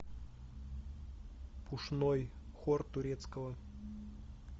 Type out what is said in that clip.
пушной хор турецкого